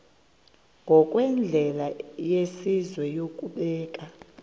ngokwendlela yesizwe yokubeka